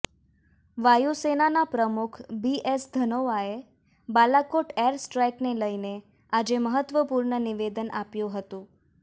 વાયુસેના પ્રમુખ B S ધનોઆએ બાલાકોટ એર સ્ટ્રાઈકને લઈને આજે મહત્વપૂર્ણ નિવેદન આપ્યું હતું